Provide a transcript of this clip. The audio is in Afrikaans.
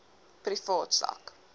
privaat sak